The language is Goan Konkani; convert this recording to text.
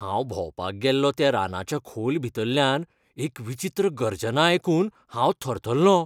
हांव भोंवपाक गेल्लों त्या रानाच्या खोल भितरल्यान एक विचित्र गर्जना आयकून हांव थरथरलों.